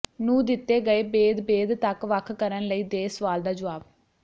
ਨੂੰ ਦਿੱਤੇ ਗਏ ਬੇਦ ਬੇਦ ਤੱਕ ਵੱਖ ਕਰਨ ਲਈ ਦੇ ਸਵਾਲ ਦਾ ਜਵਾਬ